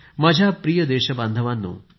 माझ्या प्रिय देशबांधवांनो